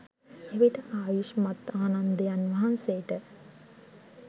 එවිට ආයුෂ්මත් ආනන්දයන් වහන්සේට